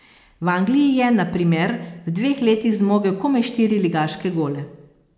V Angliji je, na primer, v dveh letih zmogel komaj štiri ligaške gole.